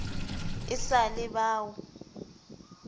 e sa le ba o